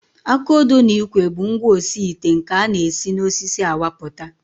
Aka odo na ikwe bụ ngwaosiite nke a na-esi n'osisi awapụta